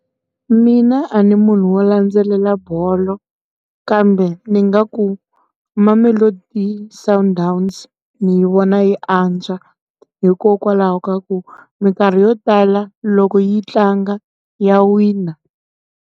Mina a ni munhu wo landzelela bolo kambe ni nga ku Mamelodi Sundowns ni yi vona yi antswa hikokwalaho ka ku mikarhi yo tala loko yi tlanga ya wina.